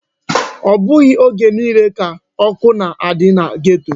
Ọ bụghị oge niile ka ọkụ na-adị na geto.